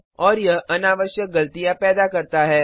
और यह अनावश्यक गलतियां पैदा करता है